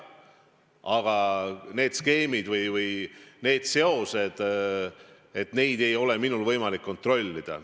Aga need skeemid või need seosed – minul ei ole võimalik neid kontrollida.